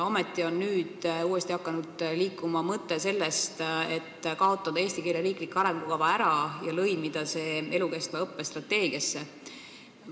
Samas on nüüd uuesti hakanud liikuma mõte sellest, et eesti keele riiklikku arengukava pole vaja, selle võiks lõimida elukestva õppe strateegiasse.